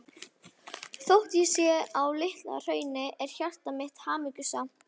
Þótt ég sé á Litla-Hrauni er hjarta mitt hamingjusamt.